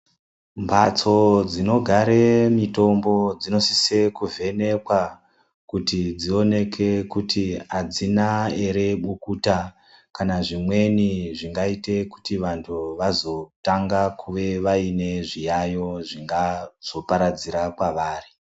Mbatso dzinogare mitombo dzinosise kuvhenekwa kuti dzioneke kuti hadzina ere bukuta. Kana zvimweni zvingaite kuti vantu vazotanga kuve vaine zviyayo zvingazoparadzira kwavari.